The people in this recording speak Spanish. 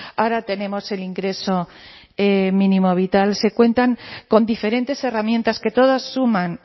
ahora tenemos el ingreso mínimo vital se cuentan con diferentes herramientas que todas suman